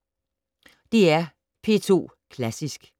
DR P2 Klassisk